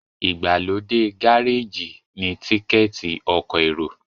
igbalode Gáréèjì ni Tíkẹ́ẹ̀tì ọkọ̀ èrò